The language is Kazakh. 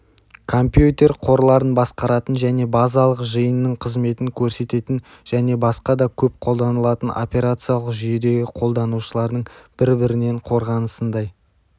компьютер қорларын басқаратын және базалық жиынның қызметін көрсететін және басқа да көп қолданылатын операциялық жүйедегі қолданушылардың бір бірінен қорғанысындай